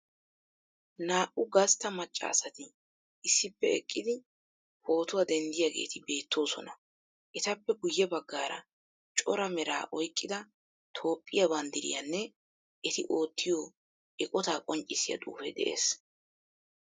Naa'u gastta macca asati issippe eqqidi pootuwa denddiyageeti beettoosona. Etappe guyye baggaara cora meraa oyqqida Toophphiya banddirayinne eti oottiyo eqotaa qonccisiya xuufe de'ees.